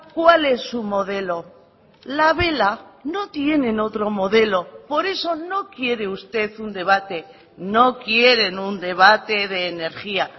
cuál es su modelo la vela no tienen otro modelo por eso no quiere usted un debate no quieren un debate de energía